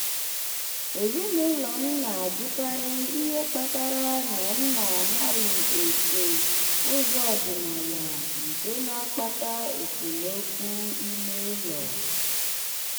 ezinụlọ m na-ajụkarị ihe kpatara na m anaghị eso ụzọ ọdịnala nke na-akpata esemokwu ime ụlọ.